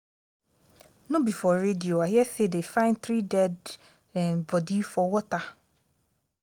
no be for radio i hear say dey find three dead um body for water $